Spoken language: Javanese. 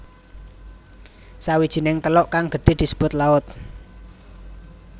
Sawijining teluk kang gedhe disebut laut